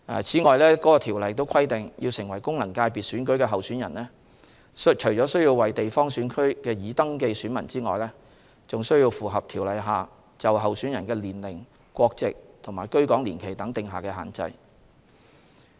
此外，該條例亦規定，要成為功能界別選舉的候選人，除了需要為地方選區的已登記選民外，還須符合條例下就候選人的年齡、國籍、居港年期等定下的限制。